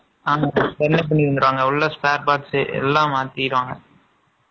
என்ன பண்ணிருக்குறாங்க? உள்ள spare parts எல்லாம் மாத்திடுவாங்க